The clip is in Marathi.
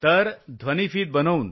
तर ध्वनिफित बनवून